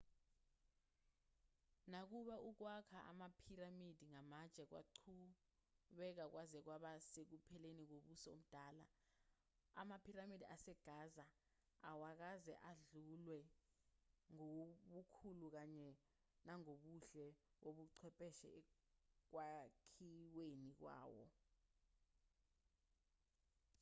nakuba ukwakha amaphiramidi ngamatshe kwaqhubeka kwaze kwaba sekupheleni kombuso omdala amaphiramidi asegaza awakaze adlulwe ngobukhulu kanye nangobuhle bobuchwepheshe ekwakhiweni kwawo